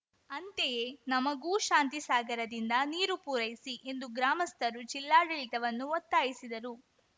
ಅಂತೆಯೇ ನಮಗೂ ಶಾಂತಿಸಾಗರದಿಂದ ನೀರು ಪೂರೈಸಿ ಎಂದು ಗ್ರಾಮಸ್ಥರು ಜಿಲ್ಲಾಡಳಿತವನ್ನು ಒತ್ತಾಯಿಸಿದರು